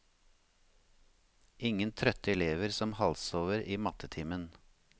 Ingen trøtte elever som halvsover i mattetimen.